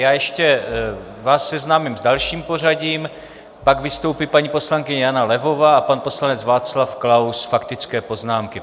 Já ještě vás seznámím s dalším pořadím: pak vystoupí paní poslankyně Jana Levová a pan poslanec Václav Klaus - faktické poznámky.